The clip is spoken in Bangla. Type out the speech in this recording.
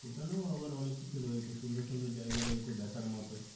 সেখানেও আবার অনেক কিছু রয়েছে সুন্দর সুন্দর জায়গা রয়েছে দেখার মতো